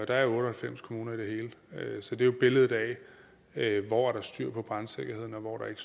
der er otte og halvfems kommuner i det hele så det er jo billedet af hvor der er styr på brandsikkerheden og hvor der ikke